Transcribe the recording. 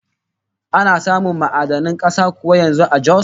Ana samun ma'adanin kuza kuwa yanzu a Jos?